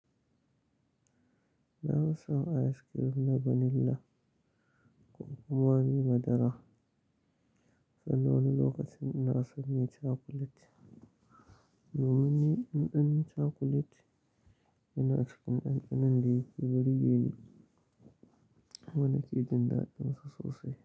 Na fi son ayis kirim na vanila ko kuma bi madara, sai wani lokacin ina son me cakulet. Domin ni ɗanɗanon cakulet yana cikin ɗanɗanon da yake burge ni, kuma nake jin daɗinsa sosai.